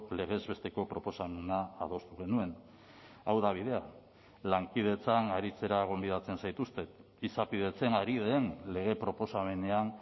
legez besteko proposamena adostu genuen hau da bidea lankidetzan aritzera gonbidatzen zaituztet izapidetzen ari den lege proposamenean